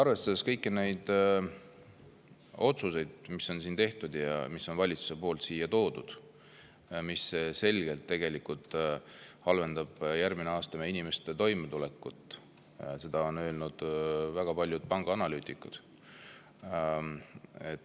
Arvestame kõiki neid otsuseid, mis on tehtud, mis on valitsuse poolt siia toodud ja mis tegelikult selgelt halvendavad järgmisel aastal inimeste toimetulekut – seda on öelnud väga paljud pangaanalüütikud.